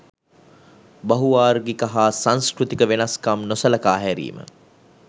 බහු වාර්ගික හා සංස්කෘතික වෙනස්කම් නොසලකා හැරීම.